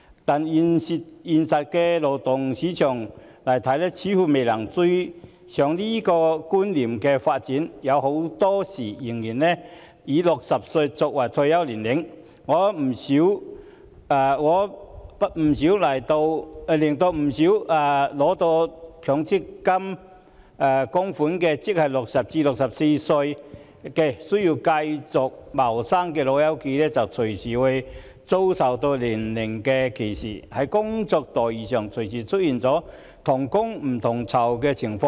但現實中的勞動市場似乎未能追上這種觀念的發展，很多時仍然以60歲作為退休年齡，令不少年屆60歲至64歲因未能取得強制性公積金供款而要繼續謀生的"老友記"隨時遭受年齡歧視，而在工作待遇上亦隨時出現同工不同酬的情況。